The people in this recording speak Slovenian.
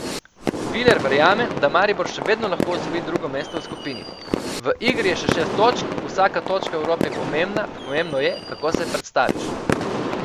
Viler verjame, da Maribor še vedno lahko osvoji drugo mesto v skupini: 'V igri je še šest točk, vsaka točka v Evropi je pomembna, pomembno je, kako se predstaviš.